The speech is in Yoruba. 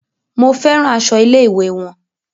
Mo fẹ́ràn aṣọ ilé-ìwé wọn.